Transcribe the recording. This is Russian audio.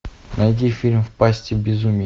найди фильм в пасти безумия